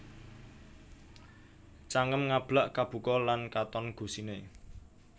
Cangem Ngablak Kabuka lan katon gusiné